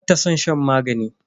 Bata san shan magani.